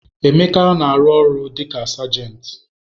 Emeka na-arụ ọrụ dị ka sergent.